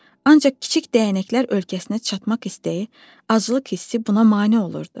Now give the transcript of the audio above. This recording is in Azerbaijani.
Ancaq kiçik dəyənəklər ölkəsinə çatmaq istəyi, aclıq hissi buna mane olurdu.